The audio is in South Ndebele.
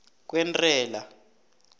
kwentela